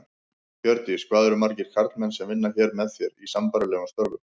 Hjördís: Hvað eru margir karlmenn sem vinna hér með þér, í sambærilegum störfum?